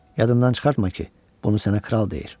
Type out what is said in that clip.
Yadından çıxartma ki, bunu sənə kral deyir.